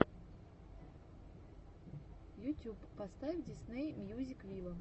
ютюб поставь дисней мьюзик виво